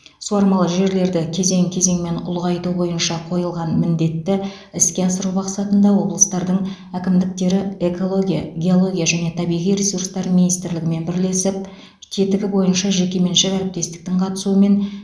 суармалы жерлерді кезең кезеңмен ұлғайту бойынша қойылған міндетті іске асыру мақсатында облыстардың әкімдіктері экология геология және табиғи ресурстар министрлігімен бірлесіп тетігі бойынша жекеменшік әріптестіктің қатысуымен